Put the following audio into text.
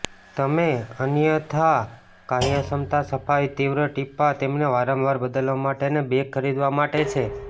તમે અન્યથા કાર્યક્ષમતા સફાઈ તીવ્ર ટીપાં તેમને વારંવાર બદલવા માટે અને બેગ ખરીદવા માટે છે